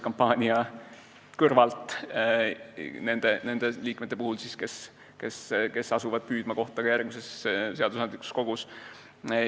Pean silmas neid liikmeid, kes asuvad püüdma kohta ka järgmises seadusandlikus kogus.